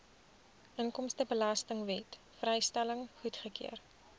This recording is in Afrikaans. inkomstebelastingwet vrystelling goedgekeur